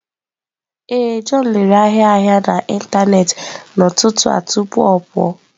Ee, john lere ahịa ahịa n'ịntanetị n'ụtụtụ a tupu ọ pụọ.